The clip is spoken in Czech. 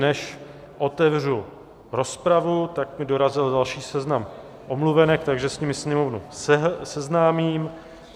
Než otevřu rozpravu, tak mi dorazil další seznam omluvenek, takže s nimi sněmovnu seznámím.